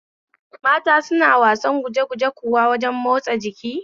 Mata suna wasar gujeguje kuwa wajen matsa jiki?